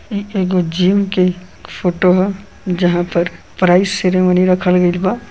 इ एगो जिम के फोटो ह जहाँ पर प्राइस सेरेमनी रखल गइल बा।